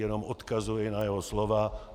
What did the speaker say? Jenom odkazuji na jeho slova.